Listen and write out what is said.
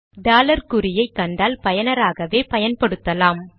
dollar குறியை கண்டால் பயனாராகவே பயன்படுத்தலாம்